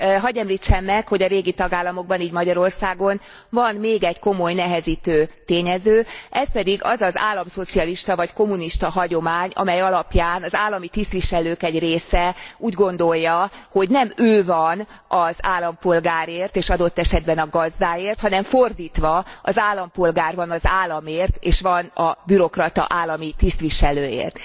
Hadd említsem meg, hogy a régi tagállamokban, így Magyarországon van még egy komoly nehezítő tényező, ez pedig az az államszocialista vagy kommunista hagyomány, amely alapján az állami tisztviselők egy része úgy gondolja, hogy nem ő van az állampolgárért és adott esetben a gazdáért, hanem fordítva, az állampolgár van az államért és van a bürokrata állami tisztviselőért.